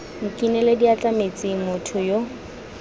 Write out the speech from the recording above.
nkinele diatla metsing motho yo